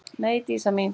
Nei, Dísa mín.